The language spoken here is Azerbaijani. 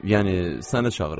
Yəni səni çağırır.